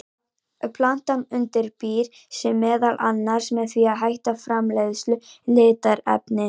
Plantan undirbýr sig meðal annars með því að hætta framleiðslu litarefna.